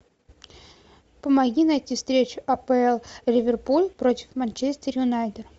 помоги найти встречу апл ливерпуль против манчестер юнайтед